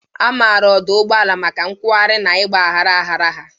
A maara ọdụ ụgbọala maka nkwogharị na ịgba gharaghara ha.